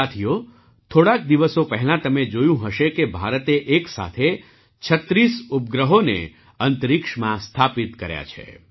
સાથીઓ થોડાક દિવસો પહેલાં તમે જોયું હશે કે ભારતે એક સાથે ૩૬ ઉપગ્રહોને અંતરિક્ષમાં સ્થાપિત કર્યા છે